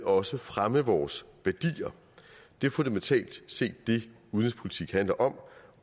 også fremme vores værdier det er fundamentalt set det udenrigspolitik handler om